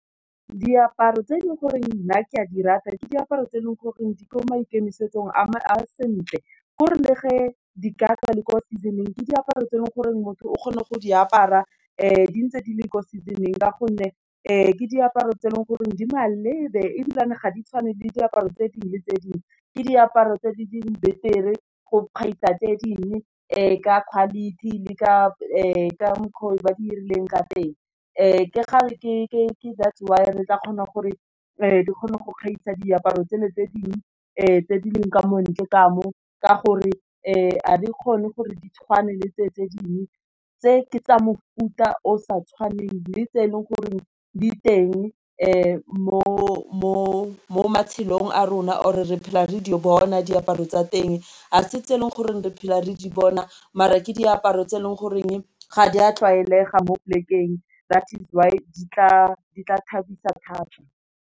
Diaparo tse e leng gore nna ke a di rata ke diaparo tse e leng goreng di ko maikemisetso a me a sentle. Ke gore le ge, di ka tswa le kwa season-ng ke diaparo tse e leng goreng motho o kgone go di apara di ntse di le ko season-ng ka gonne ke diaparo tse e leng goreng di malebe, ebilane ga di tshwane le diaparo tse dingwe tse dingwe. Ke diaparo tse di dingwe betere go gaisa tse dingwe ka quality le ka mokgwa o ba di dirileng ka teng. Ke kgale ke that's why re tla kgona gore di kgone go gaisa diaparo tseno tse dingwe tse di leng ka mo ntle kamo ka gore ga di kgone gore di tshwane le tse dingwe tse ke tsa mofuta o sa tshwaneng le tse e leng gore di teng mo tshelong a rona, or re phela re di bona diaparo tsa teng, a se tse e leng gore re phelang re di bona, mare ke diaparo tse e leng goreng ga di a tlwaelega mo polekeng that is why di tla thabisa thata.